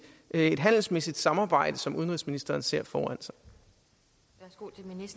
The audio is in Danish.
et handelsmæssigt samarbejde som udenrigsministeren ser foran